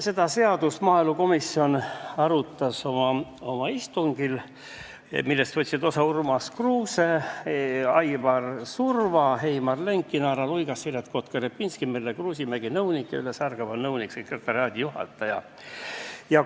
Seda seadust arutas maaelukomisjon oma istungil, millest võtsid osa Urmas Kruuse, Aivar Surva, Heimar Lenk, Inara Luigas, Siret Kotka-Repinski, nõunik Merle Kruusimägi ja nõunik-sekretariaadijuhataja Ülle Särgava.